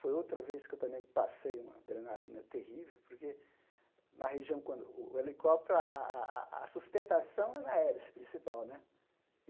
Foi outra vez que eu também passei uma adrenalina terrível, porque na região quando, o helicóptero, a a a a sustentação é na hélice principal, né?